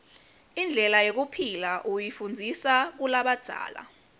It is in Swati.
indlela yekuphila uyifundiza kulabadzala